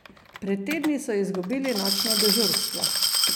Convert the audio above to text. Pred tedni so izgubili nočno dežurstvo!